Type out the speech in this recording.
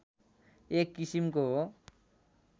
एक किसिमको हो